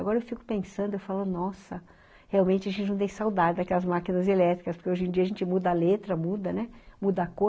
Agora eu fico pensando, eu falo, nossa, realmente a gente não tem saudade daquelas máquinas elétricas, porque hoje em dia a gente muda a letra, muda, né, muda a cor